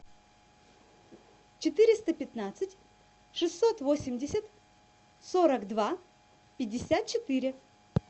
четыреста пятнадцать шестьсот восемьдесят сорок два пятьдесят четыре